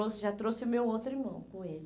trouxe, já trouxe o meu outro irmão com ele.